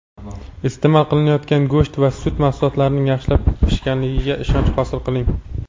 iste’mol qilinayotgan go‘sht va sut mahsulotlarining yaxshilab pishganligiga ishonch hosil qiling!.